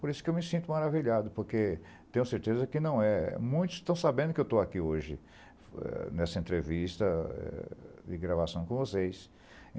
Por isso que eu me sinto maravilhado, porque tenho certeza que não é. Muitos estão sabendo que eu estou aqui hoje, eh, nessa entrevista eh, de gravação com vocês.